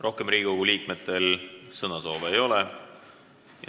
Rohkem Riigikogu liikmetel sõnasoove ei ole.